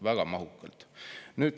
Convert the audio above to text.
Väga mahukalt!